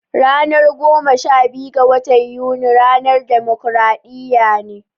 Ranar goma sha biyu ga watan Yuni ca ranar dimokradiyya